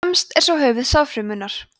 fremst er svo höfuð sáðfrumunnar